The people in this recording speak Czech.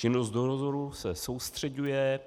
Činnost dozoru se soustřeďuje